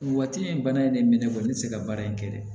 Waati in bana in de mɛnɛ bɔ ne tɛ se ka baara in kɛ dɛ